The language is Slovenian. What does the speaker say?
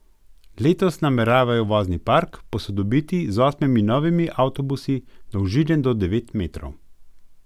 Letos nameravajo vozni park posodobiti z osmimi novimi avtobusi dolžine do devet metrov.